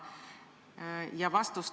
Lõpetan selle küsimuse käsitlemise.